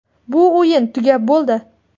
Bu o‘yin tugab bo‘ldi.